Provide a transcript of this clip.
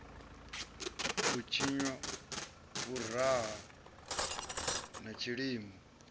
i tshinwa vhuriha na tshilimo